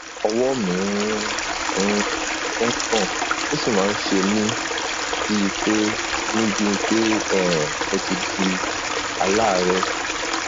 ọwọ mi ń um gbọn ó sì máa ń ṣe mí bíi pé mí bíi pé um mo ti di aláàárẹ